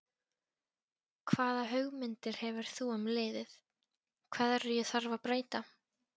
Hvaða hugmyndir hefur þú um liðið, hverju þarf að breyta?